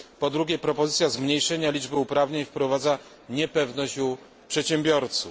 Po drugie, propozycja zmniejszenia liczby uprawnień wprowadza niepewność u przedsiębiorców.